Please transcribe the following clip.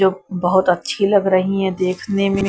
जो बहोत अच्छी लग रही है देखने में।